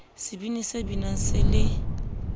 sebini se binang se le